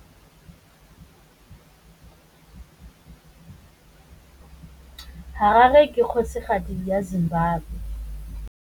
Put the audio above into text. Harare ke kgosigadi ya Zimbabwe.